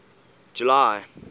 july